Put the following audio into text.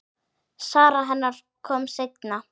Sara hennar kom seinna.